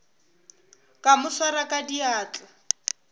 ka mo swara ka diatla